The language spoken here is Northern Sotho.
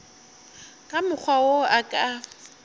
ka mokgwa wo a ka